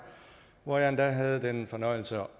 hvor jeg endda havde den fornøjelse at